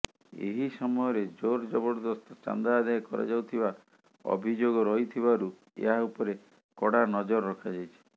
ଏହି ସମୟରେ ଜୋରଜବରଦସ୍ତ ଚାନ୍ଦା ଆଦାୟ କରାଯାଉଥିବା ଅଭିଯୋଗ ରହିଥିବାରୁ ଏହା ଉପରେ କଡ଼ା ନଜର ରଖାଯାଇଛି